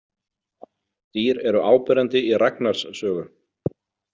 Dýr eru áberandi í Ragnars sögu.